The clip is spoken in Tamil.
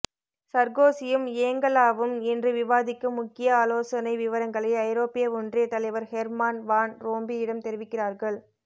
சர்கோசியும் ஏங்கலாவும் இன்று விவாதிக்கும் முக்கிய ஆலோசனை விவரங்களை ஐரோப்பிய ஒன்றிய தலைவர் ஹெர்மான் வான் ரோம்பியிடம் தெரிவிக்கிறார்கள்